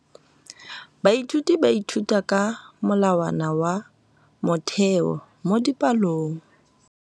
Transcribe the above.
Baithuti ba ithuta ka molawana wa motheo mo dipalong.